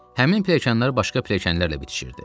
Həmin pilləkənlər başqa pilləkənlərlə bitişirdi.